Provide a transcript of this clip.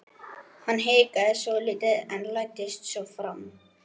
Hann hikaði svolítið en læddist svo fram.